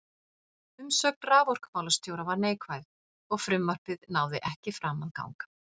Umsögn raforkumálastjóra var neikvæð, og frumvarpið náði ekki fram að ganga.